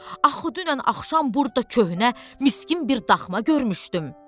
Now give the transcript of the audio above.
Axı dünən axşam burda köhnə miskin bir daxma görmüşdüm.